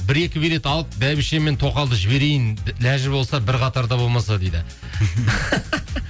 бір екі билет алып бәйбіше мен тоқалды жіберейін лажы болса бір қатарда болмаса дейді